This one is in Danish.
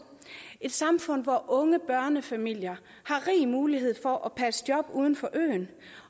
et samfund hvor unge børnefamilier har rig mulighed for at passe et job uden for øen